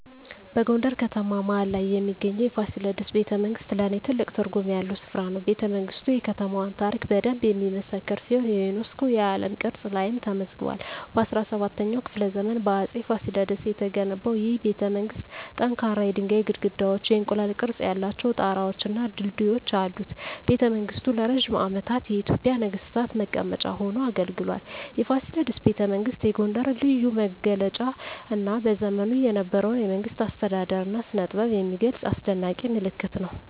በጎንደር ከተማ መሀል ላይ የሚገኘው የፋሲለደስ ቤተመንግሥት ለኔ ትልቅ ትርጉም ያለው ስፍራ ነው። ቤተመንግስቱ የከተማዋን ታሪክ በደንብ የሚመሰክር ሲሆን የዩኔስኮ የዓለም ቅርስ ላይም ተመዝግቧል። በ17ኛው ክፍለ ዘመን በአፄ ፋሲለደስ የተገነባው ይህ ቤተመንግሥት ጠንካራ የድንጋይ ግድግዳዎች፣ የእንቁላል ቅርፅ ያላቸው ጣራወች እና ድልድዮች አሉት። ቤተመንግሥቱ ለረጅም ዓመታት የኢትዮጵያ ነገሥታት መቀመጫ ሆኖ አገልግሏል። የፋሲለደስ ቤተመንግሥት የጎንደርን ልዩ መገለጫ እና በዘመኑ የነበረውን የመንግሥት አስተዳደር እና ስነጥበብ የሚገልጽ አስደናቂ ምልክት ነው።